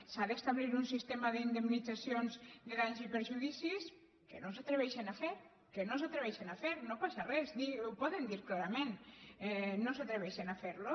s’ha d’establir un sistema d’indemnitzacions de danys i perjudicis que no s’atreveixen a fer que no s’atreveixen a fer no passa res ho poden dir clarament no s’atreveixen a fer lo